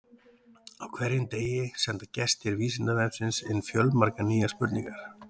Á hverjum degi senda gestir Vísindavefsins inn fjölmargar nýjar spurningar.